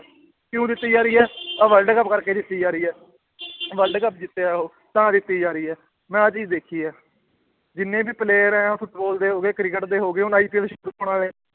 ਕਿਉਂ ਦਿੱਤੀ ਜਾ ਰਹੀ ਹੈ ਆਹ world ਕੱਪ ਕਰਕੇ ਦਿੱਤੀ ਜਾ ਰਹੀ ਹੈ world ਕੱਪ ਜਿੱਤਿਆ ਉਹ, ਤਾਂ ਦਿੱਤੀ ਜਾ ਰਹੀ ਹੈ, ਮੈਂ ਆਹ ਚੀਜ਼ ਦੇਖੀ ਹੈ ਜਿੰਨੇ ਵੀ player ਹੈ ਫੁਟਬਾਲ ਦੇ ਹੋ ਗਏ, ਕ੍ਰਿਕਟ ਦੇ ਹੋ ਗਏ ਹੁਣ IPL ਸ਼ੁਰੂ ਹੋਣਾ ਵਾਲੇ